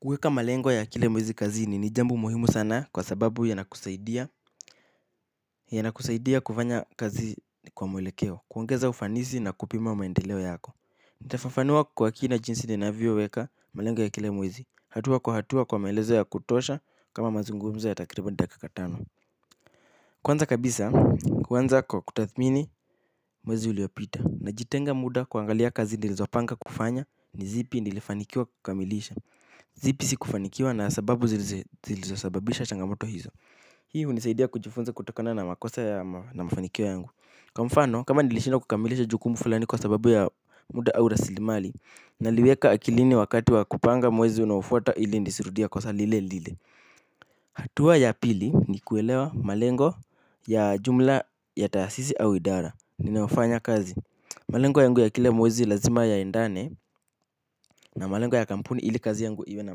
Kuweka malengo ya kila mwezi kazini ni jambo muhimu sana kwa sababu yanakusaidia kufanya kazi kwa mwelekeo, kuongeza ufanisi na kupima maendeleo yako. Nitafafanua kwa kina jinsi ni navyoweka malengo ya kila mwezi, hatua kwa hatua kwa maelezo ya kutosha kama mazungumzo ya takriban dakika tano. Kwanza kabisa, huanza kwa kutathmini mwezi uliopita najitenga muda kuangalia kazi nilizopanga kufanya ni zipi nilifanikiwa kukamilisha. Zipi sikufanikiwa na sababu zilizosababisha changamoto hizo. Hii hunisaidia kujifunza kutokona na makosa ya mafanikio yangu kwa mfano kama nilishindwa kukamilisha jukumu fulani kwa sababu ya muda au rasilimali. Naliweka akilini wakati wa kupanga mwezi unaofuata ili nisirudie kosa lile lile. Hatua ya pili ni kuelewa malengo ya jumla ya taasisi au idara ninayofanya kazi. Malengo yangu ya kila mwezi lazima yaendane na malengo ya kampuni ili kazi yangu iwe na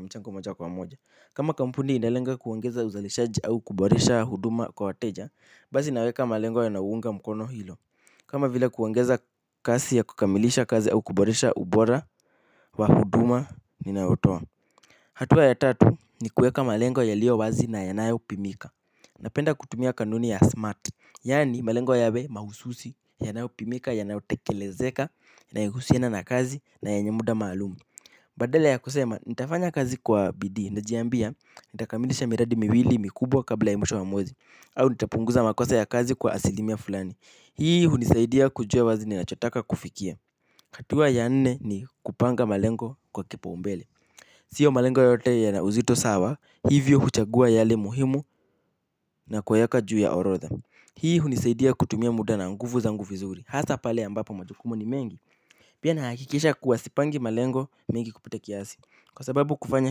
mchango moja kwa moja. Kama kampuni inalenga kuongeza uzalishaji au kuboresha huduma kwa wateja, basi naweka malengo yanayounga mkono hilo kama vila kuoangeza kasi ya kukamilisha kazi au kuboresha ubora wa huduma, ninayotoa. Hatua ya tatu ni kuweka malengo yaliyo wazi na yanayopimika. Napenda kutumia kanuni ya smart yaani malengo yawe mahususi, yanayopimika, yanayotekelezeka, yanayohusiana na kazi na yenye muda maalum. Badala ya kusema, nitafanya kazi kwa bidii, najiambia, nitakamilisha miradi miwili mikubwa kabla mwisho wa mwezi au nitapunguza makosa ya kazi kwa asilimia fulani. Hii hunisaidia kujua wazi ninachotaka kufikia hatua ya nne ni kupanga malengo kwa kipoumbele. Sio malengo yote yana uzito sawa, hivyo huchagua yale muhimu na kuyaweka juu ya orodha. Hii hunisaidia kutumia muda na nguvu za vizuri hasa pale ambapo majukumu ni mengi. Pia nahakikisha kuwa sipangi malengo mengi kupita kiasi. Kwa sababu kufanya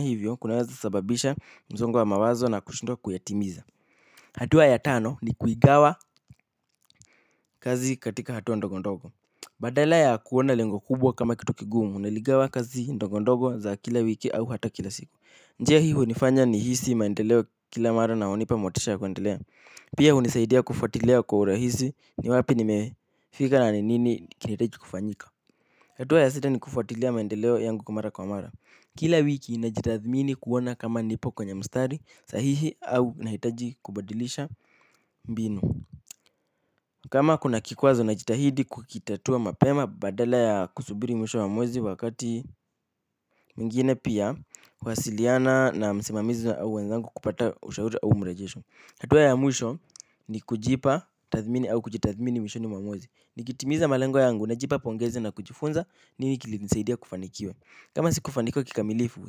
hivyo, kunaweza sababisha msongo wa mawazo na kushindwa kuyatimiza. Hatua ya tano ni kuigawa kazi katika hatua ndogo ndogo. Badala ya kuona lengo kubwa kama kitu kigumu naligawa kazi ndogo ndogo za kila wiki au hata kila siku. Njia hii hunifanya nihisi maendeleo kila mara na hunipa motisha ya kuendelea pia hunisaidia kufuatilia kwa urahisi ni wapi nimefika na nini kinahitaji kufanyika. Hatua ya sita ni kufaatilea maendeleo yangu mara kwa mara. Kila wiki najitathmini kuona kama nipo kwenye mstari sahihi au nahitaji kubadilisha mbinu. Kama kuna kikwazo najitahidi kukitatua mapema badala ya kusubiri mwisho mwezi wakati mwingine pia kuwasiliana na msimamizi au wenzangu kupata ushauri au mrejesho hatua ya mwisho ni kujipa tathmini au kujitathmini mwishoni mwa mwezi. Nikitimiza malengo yangu najipa pongezi na kujifunza nini kilinisaidia kufanikiwa. Kama sikufanikiwa kikamilifu,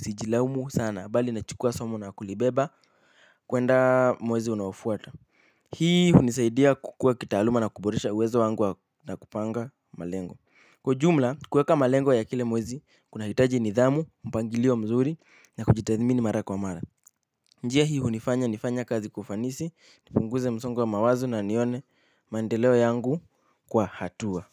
sijilaumu sana, bali nachukua somo na kulibeba, kwenda mwezi unaofuata. Hii hunisaidia kukua kitaaluma na kuboresha uwezo wangu na kupanga malengo. Kwa ujumla, kueka malengo ya kila mwezi, kunahitaji nidhamu, mpangilio mzuri, na kujitathmini mara kwa mara. Njia hii hunifanya nifanye kazi kwa ufanisi, nipunguze msongo mawazo na nione maendeleo yangu kwa hatua.